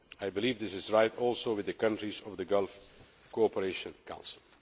I believe this is right also with the countries of the Gulf Cooperation Council.